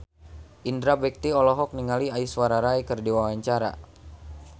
Indra Bekti olohok ningali Aishwarya Rai keur diwawancara